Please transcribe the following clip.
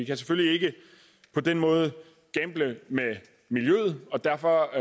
kan selvfølgelig ikke på den måde gamble med miljøet og derfor